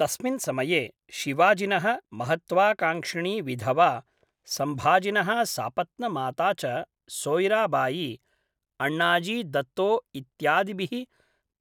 तस्मिन् समये, शिवाजिनः महत्त्वाकांक्षिणी विधवा, सम्भाजिनः सापत्नमाता च सोय्राबायी, अण्णाजी दत्तो इत्यादिभिः